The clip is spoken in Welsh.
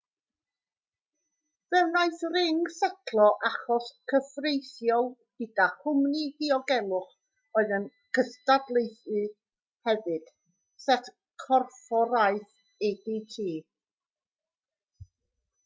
fe wnaeth ring setlo achos cyfreithiol gyda chwmni diogelwch oedd yn gystadleuydd hefyd sef corfforaeth adt